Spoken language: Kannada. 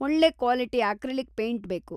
ಒಳ್ಳೆ ಕ್ವಾಲಿಟಿ ಅಕ್ರಿಲಿಕ್‌ ಪೈಂಟ್‌ ಬೇಕು.